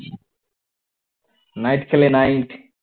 night খেলে night